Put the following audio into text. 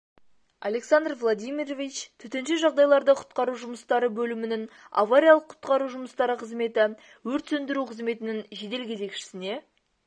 александр владимирович төтенше жағдайларды құтқару жұмыстары бөлімінің авариялық-құтқару жұмыстары қызметі өрт сөндіру қызметінің жедел кезекшісіне